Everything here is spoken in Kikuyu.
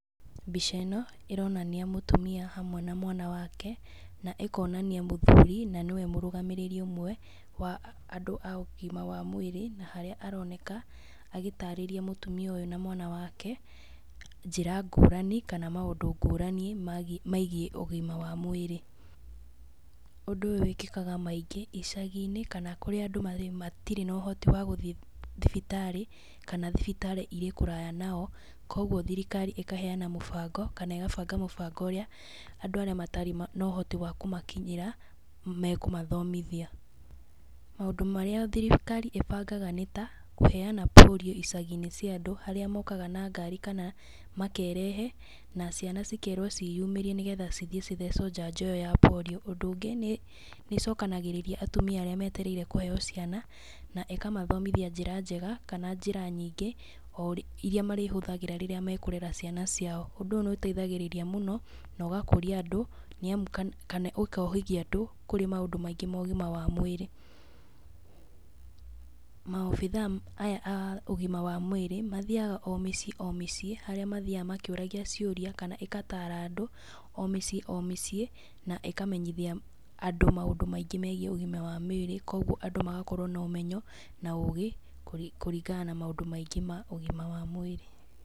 Mbica ĩno ĩronania mũtumia hamwe na mwana wake, na ĩkonania mũthuri na nĩwe mũrũgamĩrĩri ũmwe wa andũ aũgima wa mwĩrĩ na harĩa aroneka agĩtarĩria mũtumia ũyũ na mwana wake, njĩra ngũrani kana maũndũ ngũrani megiĩ ũgima wa mwĩrĩ, ũndũ ũyũ wĩkĩkaga maingĩ icagi-inĩ kana kũrĩa andũ matirĩ na ũhoti wa gũthiĩ thibitarĩ, kana thibitarĩ irĩ kũraya nao, koguo thirikari ĩkaheana mũbango kana ĩgabanga mũbango ũrĩa andũ arĩa matarĩ na ũhoti wakũmakinyĩra mekũmathomithia, maũndũ marĩa thirikari ĩbangaga nĩ ta, kũhena polio icagi-inĩ cia andũ, harĩa mokaga na ngari, kana makerehe na ciana cikerwo ciyumĩrie, nĩgetha cithiĩ cithecwo njanjo ĩyo ya polio, ũndũ ũngĩ nĩcokanagĩrĩria atumia arĩa metereirwo kũheyo ciana na ĩkamathomithia njĩra njega, kana njĩra nyingĩ iria marĩhũthagĩra rĩrĩa mekũrera ciana ciao, ũndũ ũyũ nĩũteithagĩrĩria mũno na ũgakũria andũ nĩamu, kana ũkohĩgia andũ kũrĩ maũndũ maingĩ ma ũgima wa mwĩrĩ, maobithaa aya ma ũgima wa mwĩrĩ mathiaga o mĩciĩ o mĩciĩ harĩa mathiaga makĩũragia ciũria, kana igatara andũ o mĩciĩ o mĩciĩ, na ĩkamenyithia andũ maũndũ maingĩ megiĩ ũgima wa mĩrĩ, koguo andũ magakorwo na ũmenyo na ũgĩ kũringana na maũndũ maingĩ ma ũgima wa mwĩrĩ.